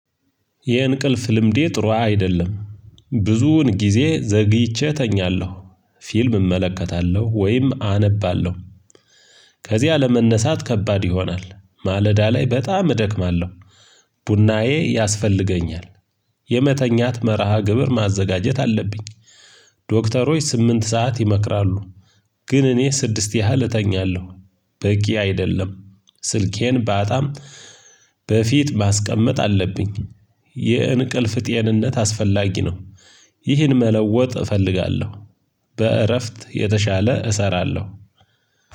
የእንቅልፍ ልምዴ ጥሩ አይደለም ብዙውን ጊዜ ዘግይቼ እተኛለሁ። ፊልም እመለከታለሁ ወይም አነባለሁ። ከዚያ ለመነሳት ከባድ ይሆናል ማለዳ ላይ በጣም እደክማለሁ። ቡናዬ ያስፈልገኛል። የመተኛት መርሃ ግብር ማዘጋጀት አለብኝ። ዶክተሮች ስምንት ሰዓት ይመክራሉ። ግን እኔ ስድስት ያህል እተኛለሁ። በቂ አይደለም ስልኬን በጣም በፊት ማስቀመጥ አለብኝ። የእንቅልፍ ጤንነት አስፈላጊ ነው። ይህን መለወጥ እፈልጋለሁ። በእረፍት የተሻለ እሰራለሁ።